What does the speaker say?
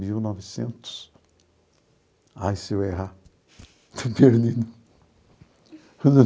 Mil novecentos...ai, se eu errar.